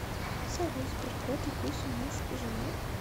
салют сберкот и куся муж и жена